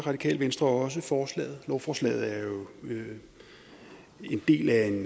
radikale venstre også forslaget lovforslaget er jo en del af en